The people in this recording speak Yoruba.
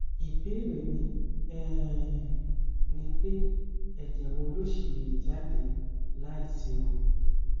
ìbéèrè mi um ni pé ẹjẹ wo ló ṣì lè dà jáde láìséwu